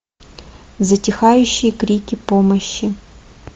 затихающие крики помощи